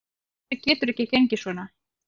Þetta getur ekki gengið svona.